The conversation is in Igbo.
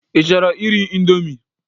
Ị chọrọ iri indomi?